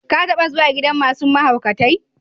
Ka taba zuwa gidan masun mahaukatai?